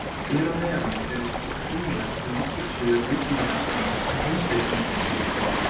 Hér að neðan eru svo tenglar í nokkur svör Vísindavefsins um heimspekinga.